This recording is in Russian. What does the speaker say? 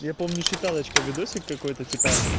я помню считалочка видосик какой-то типа